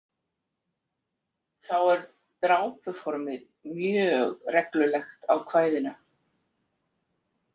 Þá er drápuformið mjög reglulegt á kvæðinu.